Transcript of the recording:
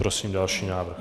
Prosím další návrh.